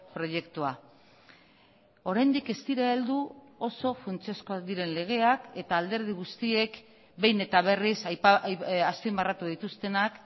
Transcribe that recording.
proiektua oraindik ez dira heldu oso funtsezkoak diren legeak eta alderdi guztiek behin eta berriz azpimarratu dituztenak